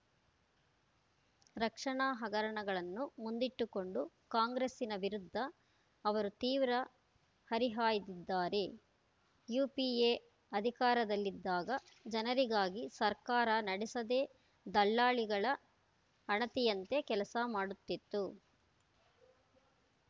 ರಕ್ಷಣಾ ಹಗರಣಗಳನ್ನು ಮುಂದಿಟ್ಟುಕೊಂಡು ಕಾಂಗ್ರೆಸ್ಸಿನ ವಿರುದ್ಧ ಅವರು ತೀವ್ರ ಹರಿಹಾಯ್ದಿದ್ದಾರೆ ಯುಪಿಎ ಅಧಿಕಾರದಲ್ಲಿದ್ದಾಗ ಜನರಿಗಾಗಿ ಸರ್ಕಾರ ನಡೆಸದೇ ದಲ್ಲಾಳಿಗಳ ಅಣತಿಯಂತೆ ಕೆಲಸ ಮಾಡುತ್ತಿತ್ತು